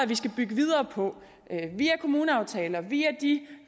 vi skal bygge videre på via kommuneaftaler via de